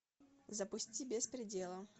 запусти без предела